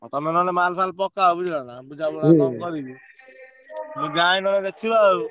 ଆଉ ତମେ ନହେଲେ ମାଲ ଫାଲ ପକାଅ ବୁଝିଲ ନାଁ। ମୁଁ ଯାଏ ନହେଲେ ଦେଖିବାଆଉ।